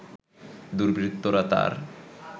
দুর্বৃত্তরা তার